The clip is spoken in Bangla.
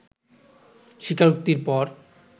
স্বীকারোক্তির পর